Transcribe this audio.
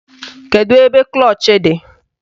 Kedu ebe klọch dị?